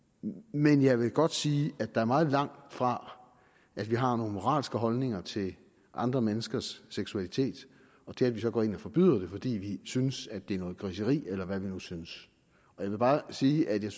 men jeg vil godt sige at der er meget langt fra at vi har nogle moralske holdninger til andre menneskers seksualitet og til at vi så skal gå ind og forbyde det fordi vi synes det er noget griseri eller hvad vi nu synes jeg vil bare sige at jeg